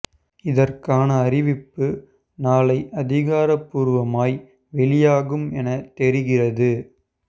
இதற்கான அறிவிப்பு நாளை அதிகார பூர்வமாய் வெளியாகும் என தெரிகிறது